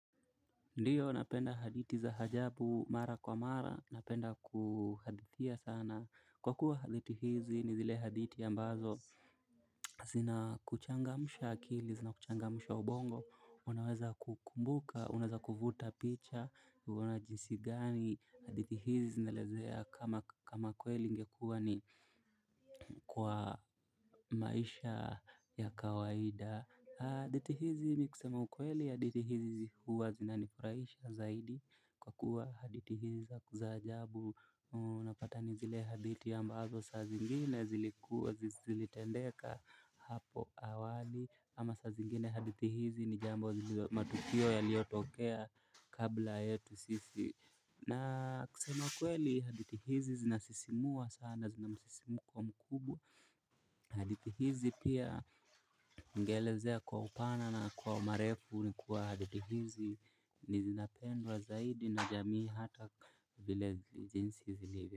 Ndiyo, napenda hadithi za hajabu mara kwa mara. Napenda kuhadithia sana. Kwa kuwa haditi hizi ni zile haditi ambazo. Zina kuchangamusha akili, zina kuchangamusha ubongo. Unaweza kukumbuka, unaweza kuvuta picha. Kuona jinsi gani hadithi hizi zinaelezea kama kweli ingekuwa ni kwa maisha ya kawaida. Hadithi hizi mi kusema ukweli hadithi hizi huwa zinanifuraisha zaidi kwa kuwa hadithi hizi za za ajabu napata ni zile haditi ambazo sa zingine zilikuwa zilitendeka hapo awali. Ama sa zingine hadithi hizi ni jambo zilio matukio yaliyotokea kabla yetu sisi. Na kusema ukweli hadithi hizi zinasisimua sana zinamsisimuko mkubwa. Hadithi hizi pia ningeelezea kwa upana na kwa marefu nikuwa hadithi hizi nizinapendwa zaidi na jamii hata vile jinsi zilivyo.